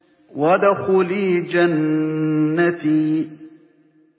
وَادْخُلِي جَنَّتِي